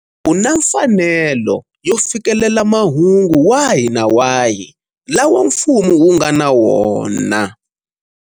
U na mfanelo yo fikelela mahungu wahi na wahi lawa mfumo wunga na wona.